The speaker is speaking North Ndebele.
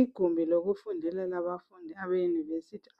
igumbi lokufundela labafundi